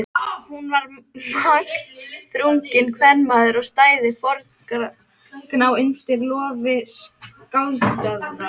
Hún var magnþrunginn kvenmaður og stæði foldgná undir lofi skáldjöfra.